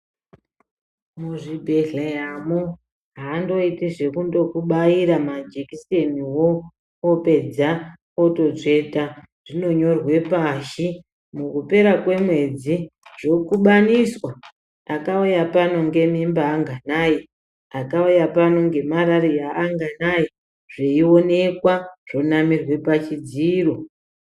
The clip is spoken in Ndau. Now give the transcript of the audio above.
Muzvibhedhleyamo avanfoiti zvekundokubaira majekiseniwo apaedza ototsveta zvinonyorwe pashi mukupera kwemwedzi zvokubaniswa akauya pano ngemimba anganai akauya pano ngemarariya anganai zvoonekwa zvonamirwe pachidziro.